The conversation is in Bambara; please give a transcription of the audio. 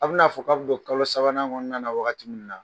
A bɛ n'a fɔ k'a bɛ don kalo sabanan kɔnɔnna na waagati min na.